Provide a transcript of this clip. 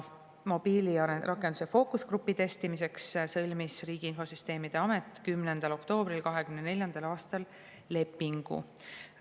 Mobiilirakenduse testimiseks fookusgrupis sõlmis Riigi Infosüsteemi Amet 10. oktoobril 2024. aastal lepingu.